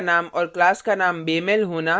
file का name और class का name बेमेल होना